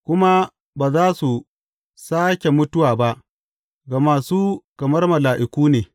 Kuma ba za su sāke mutuwa ba, gama su kamar mala’iku ne.